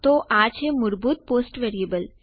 તો આ છે મૂળભૂત પોસ્ટ વેરીએબલ